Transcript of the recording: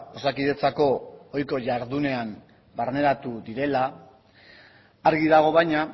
osakidetzako ohiko jardunean barneratu direla argi dago baina